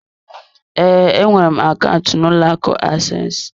Ee, enwere m akaụntụ n'ụlọ akụ access.